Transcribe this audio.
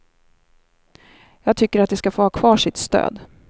Jag tycker att de ska få ha kvar sitt stöd.